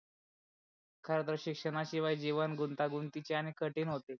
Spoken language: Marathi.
खर तर शिक्षणा शिवाय जीवन गुंतागुंतीचे आणि कठीण होते.